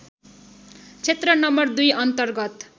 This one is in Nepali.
क्षेत्र नं २ अन्तर्गत